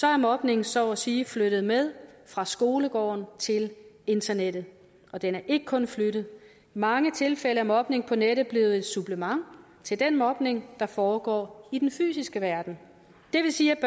er mobning så at sige flyttet med fra skolegården til internettet og den er ikke kun flyttet mange tilfælde af mobning på nettet er blevet et supplement til den mobning der foregår i den fysiske verden det vil sige